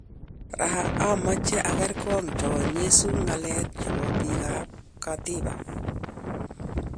Raa amache angerngoo cho nyeso ngalek chepo pik ap katiba